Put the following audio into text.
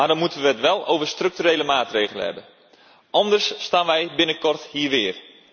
Maar dan moeten we het wel over structurele maatregelen hebben, anders staan wij binnenkort hier weer.